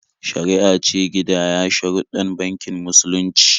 Shari'a ce gindaya sharuɗɗan bankin musulunci.